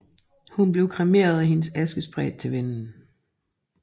Hun blev kremeret og hendes aske spredt til vinden